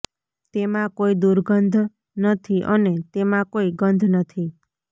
તેમાં કોઈ દુર્ગંધ નથી અને તેમાં કોઈ ગંધ નથી